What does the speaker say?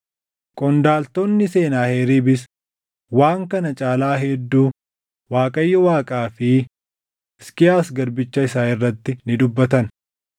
Qondaaltonni Senaaheriibis waan kana caalaa hedduu Waaqayyo Waaqaa fi Hisqiyaas garbicha isaa irratti ni dubbatan.